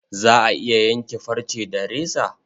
Za a iya yanke farce da reza?